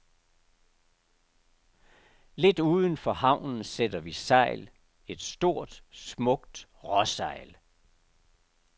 Lidt uden for havnen sætter vi sejl, et stort, smukt råsejl.